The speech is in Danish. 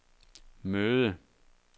møde